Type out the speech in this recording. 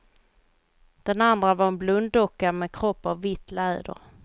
Den andra var en blunddocka med kropp av vitt läder.